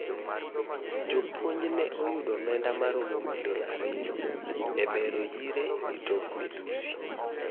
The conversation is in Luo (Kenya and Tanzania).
Jopunj ne oyudo omenda maromo milion ariyo e bero yire gi tok midhusi.